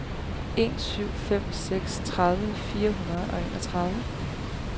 en syv fem seks tredive fire hundrede og enogtredive